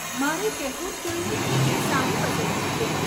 મારે કહેવું જ જોઈએ કે એ સારી પસંદગી છે.